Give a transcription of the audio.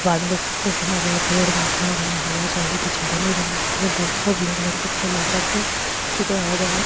बाढ़ देख सका बार बड़ा पेड़ हवा चलरी --